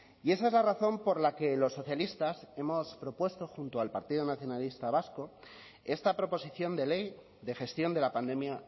y esa es la razón por la que los socialistas hemos propuesto junto al partido nacionalista vasco esta proposición de ley de gestión de la pandemia